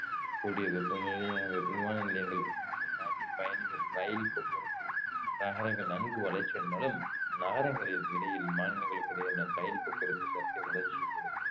விமான நிலையங்கள் நாட்டின் பயணிகள் ரயில் போக்குவரத்து நகரங்கள் நன்கு வளர்ச்சி அடைந்தாலும் நகரங்களுக்கு இடையில் மாநிலங்களுக்கு இடையேயான ரயில் போக்குவரத்து சற்றே வளர்ச்சி குறைந்து